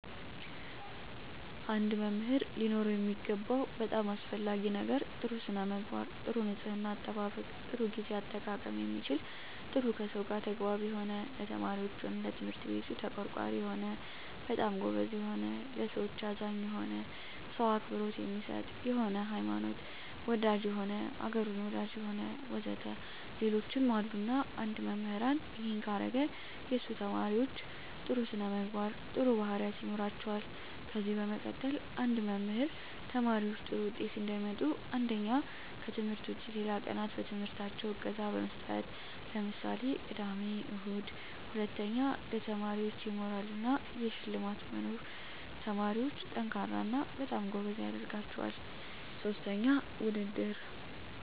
አንድ መምህር ሊኖረው የሚገባው በጣም አሰፈላጊ ነገር ጥሩ ስነምግባር ጥሩ ንጽሕና አጠባበቅ ጥሩ ግዜ አጠቃቀም የሚችል ጥሩ ከሰው ጋር ተግባቢ የሆነ ለተማሪዎች ሆነ ለትምህርት ቤቱ ተቆርቋሪ የሆነ በጣም ጎበዝ የሆነ ለሠዎች አዛኝ የሆነ ሰው አክብሮት የሚሰጥ የሆነ ሀይማኖት ወዳጅ የሆነ አገሩን ወዳጅ የሆነ ወዘተ ሌሎችም አሉ እና አንድ መምህራን እሄን ካረገ የሱ ተመራማሪዎች ጥሩ ስነምግባር ጥሩ ባህሪያት ይኖራቸዋል ከዚ በመቀጠል አንድ መምህር ተማሪዎች ጥሩ ውጤት እንዲያመጡ አንደኛ ከትምህርት ውጭ ሌላ ቀናት በትምህርታቸው እገዛ መስጠት ለምሳሌ ቅዳሜ እሁድ ሁለተኛ ለተማሪዎች የሞራል እና የሽልማት መኖር ተማሪዎች &ጠንካራ እና በጣም ጎበዝ ያደረጋቸዋል ሥስተኛ ውድድር